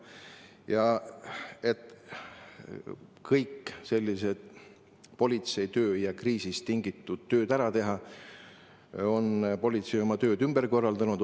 Ja et kõik politseitöö tavalised ja kriisist tingitud tööd ära teha, on politsei oma tööd ümber korraldanud.